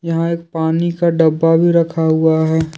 यहां एक पानी का डब्बा भी रखा हुआ है।